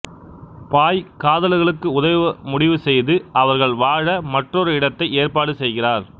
பாய் காதலர்களுக்கு உதவ முடிவுசெய்து அவர்கள் வாழ மற்றொரு இடத்தைக் ஏற்பாடு செய்கிறார்